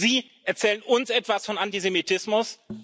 Und Sie erzählen uns etwas von Antisemitismus?